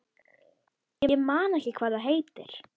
Ég man ekki hvað það heitir.